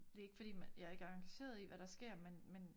Det ikke fordi man jeg ikke er engageret i hvad der sker men men